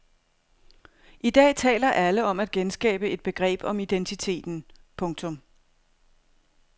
I dag taler alle om at genskabe et begreb om identiteten. punktum